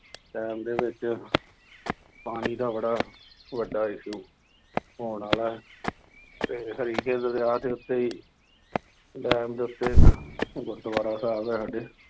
time ਦੇ ਵਿੱਚ ਪਾਣੀ ਦਾ ਬੜਾ ਵੱਡਾ issue ਹੋਣ ਵਾਲਾ ਅਤੇ ਹਰੀਕੇ ਦਰਿਆ ਦੇ ਉੱਤੇ ਹੀ ਡੈਮ ਦੇ ਉੱਤੇ ਗੁਰਦੁਆਰਾ ਸਾਹਿਬ ਹੈ ਸਾਡੇ